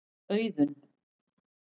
Auðunn